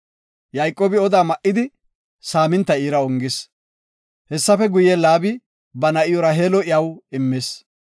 Yayqoobi oda ma77idi saaminta iira ongis. Hessafe guye, Laabi ba na7iw Raheelo iyaw immis.